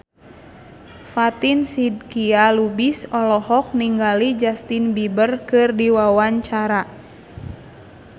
Fatin Shidqia Lubis olohok ningali Justin Beiber keur diwawancara